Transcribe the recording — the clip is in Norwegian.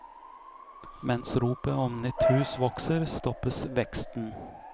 Mens ropet om nytt hus vokser, stoppes veksten.